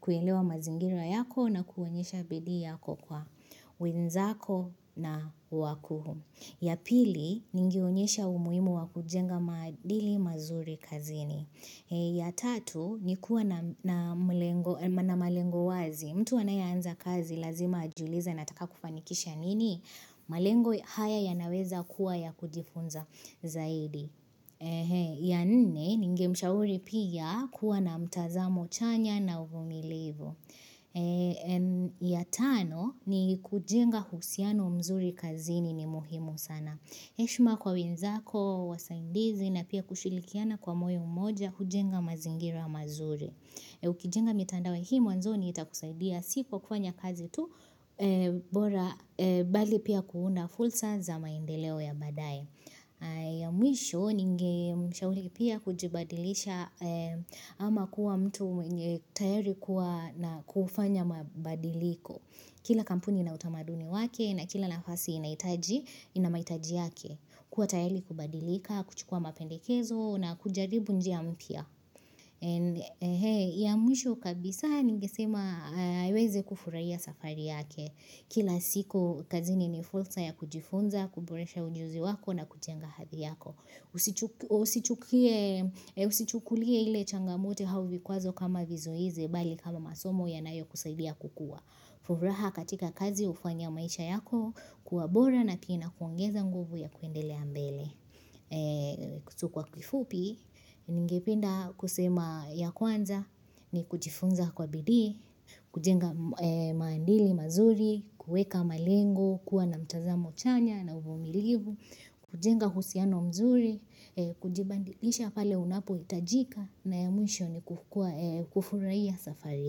kuelewa mazingira yako na kuonyesha bidii yako kwa wenzako na wakuu. Ya pili, ningeonyesha umuhimu wa kujenga maadili mazuri kazini. Ya tatu, ni kuwa na malengo wazi. Mtu anayeanza kazi, lazima ajiulize anataka kufanikisha nini? Malengo haya yanaweza kuwa ya kujifunza zaidi. Ya nne, ningemshauri pia kuwa na mtazamo chanya na uvumilivu. Ya tano ni kujenga uhusiano mzuri kazini ni muhimu sana heshima kwa wenzako, wasaidizi na pia kushirikiana kwa moyo mmoja kujenga mazingira mazuri Ukijenga mitandao hii mwanzoni itakusaidia Si kwa kufanya kazi tu bora bali pia kuunda fursa za maendeleo ya baadae ya mwisho ningemshauri pia kujibadilisha ama kuwa mtu mwenye tayari kuwa na kufanya mabadiliko Kila kampuni ina utamaduni wake na kila nafasi inahitaji ina mahitaji yake kuwa tayari kubadilika, kuchukua mapendekezo na kujaribu njia mpya ya mwisho kabisa ningesema aweze kufurahia safari yake Kila siku, kazini ni fursa ya kujifunza, kuboresha ujuzi wako na kujenga hadhi yako usichu Usichukulie ile changamoto au vikwazo kama vizuizi, bali kama masomo yanayokusaidia kukua. Furaha katika kazi hufanya maisha yako, kuwa bora na kina kuongeza nguvu ya kuendelea mbele. So kwa kifupi, ningependa kusema ya kwanza ni kujifunza kwa bidii, kujenga maadili mazuri, kueka malengo, kuwa na mtazamo chanya na uvumilivu, kujenga uhusiano mzuri, kujibadilisha pale unapohitajika na ya mwisho ni kukuwa kufurahia safari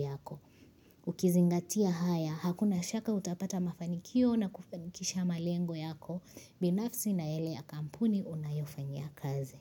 yako. Ukizingatia haya, hakuna shaka utapata mafanikio na kufanikisha malengo yako, binafsi na yale ya kampuni unayofanyia kazi.